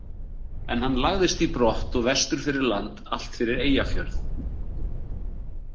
En hann lagðist í brott og vestur fyrir land, allt fyrir Eyjafjörð.